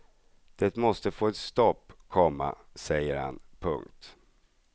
Det måste få ett stopp, komma säger han. punkt